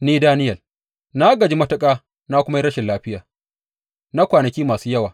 Ni, Daniyel, na gaji matuƙa na kuma yi rashin lafiya na kwanaki masu yawa.